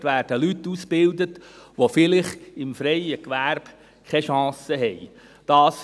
Dort werden Leute ausgebildet, die vielleicht im freien Gewerbe keine Chance haben.